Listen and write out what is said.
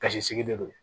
Kasi sigi de do